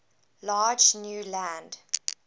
large new land